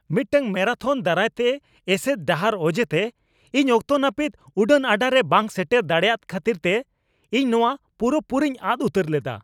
ᱢᱤᱫᱴᱟᱝ ᱢᱮᱨᱟᱛᱷᱚᱱ ᱫᱟᱨᱟᱭᱛᱮ ᱮᱥᱮᱫ ᱰᱟᱦᱟᱨ ᱚᱡᱮᱛᱮ ᱤᱧ ᱚᱠᱛᱚ ᱱᱟᱹᱯᱤᱛ ᱩᱰᱟᱹᱱᱼᱟᱰᱟᱨᱮ ᱵᱟᱝ ᱥᱮᱴᱮᱨ ᱫᱟᱲᱮᱭᱟᱠᱟᱫ ᱠᱷᱟᱹᱛᱤᱨᱛᱮ ᱤᱧ ᱱᱚᱶᱟ ᱯᱩᱨᱟᱹᱼᱯᱩᱨᱤᱧ ᱟᱫ ᱩᱛᱟᱹᱨ ᱞᱮᱫᱟ ᱾